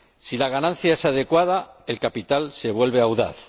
Si la ganancia es adecuada, el capital se vuelve audaz